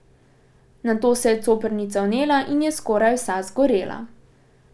Nato se je coprnica vnela in je skoraj vsa zgorela.